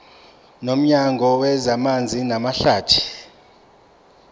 nomnyango wezamanzi namahlathi